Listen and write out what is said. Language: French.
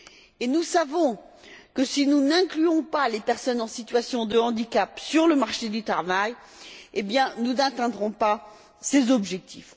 Et nous savons que, si nous n'intégrons pas les personnes en situation de handicap dans le marché du travail, nous n'atteindrons pas ces objectifs.